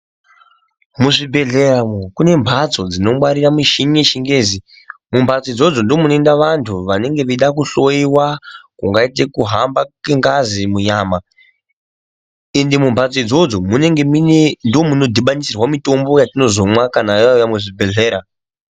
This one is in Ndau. Muzvibhedhleya umwu kune mhatso dzinongwarire michini yechingezi. Mumhatso idzodzo ndomunoenda vantu vanenge veida kuhloiwa kungaite kuhamba kwengazi munyama. Ende mumhatso idzodzo munenge muine ndomunodhibanisirwa mitombo yatinozomwa kana yauya muzvibhedhlera.